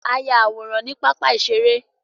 A yá àwòrán ní pápá iṣere